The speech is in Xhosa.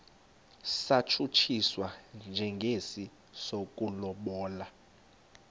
satshutshiswa njengesi sokulobola